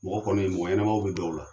Mɔgɔ kɔni mɔgɔ ɲɛnaman be dɔw la.